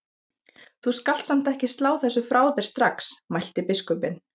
Þú skalt samt ekki slá þessu frá þér strax mælti biskupinn.